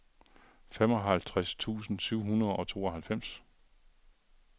femoghalvtreds tusind syv hundrede og tooghalvfems